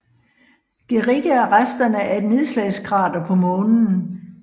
Guericke er resterne af et nedslagskrater på Månen